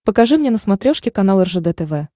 покажи мне на смотрешке канал ржд тв